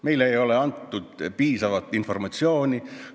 Meile ei ole antud piisavat informatsiooni.